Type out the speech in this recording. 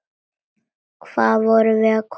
Hvað vorum við komin langt?